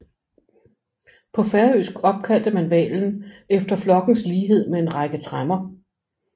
På færøsk opkaldte man hvalen efter flokkens lighed med en række tremmer